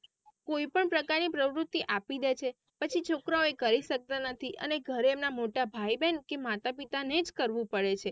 કોઈ પણ પ્રકાર ની પ્રવુતિ આપી દે છે પછી છોકરાઓ એ કરી સકતા નથી અને ઘરે એમના મોટા ભાઈ બેહેન કે માતા પિતા નેજ કરવું પડે છે.